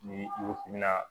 Ni i ko k'i bi na